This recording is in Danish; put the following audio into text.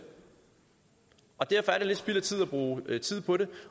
og derfor er det lidt spild af tid at bruge tid på det